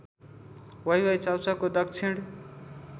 वाइवाइ चाउचाउको दक्षिण